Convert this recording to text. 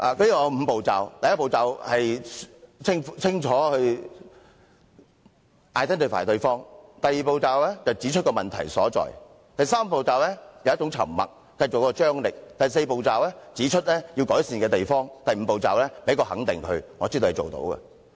"它有5個步驟：第一步是清楚地稱呼對方，第二步是指出問題所在，第三步是以沉默製造張力，第四步是指出要改善之處，而第五步是給予對方肯定，說知道對方做得到。